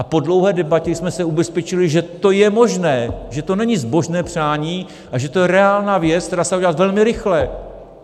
A po dlouhé debatě jsme se ubezpečili, že to je možné, že to není zbožné přání, ale že to je reálná věc, která se dá udělat velmi rychle.